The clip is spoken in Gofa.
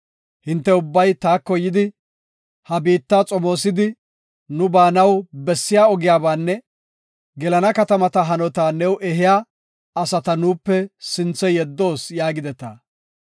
Hinte ubbay taako yidi, “He biitta xomoosidi, nu baanaw bessiya ogiyabanne gelana katamata hanota new ehiya asata nuupe sinthe yeddoos” yaagideta.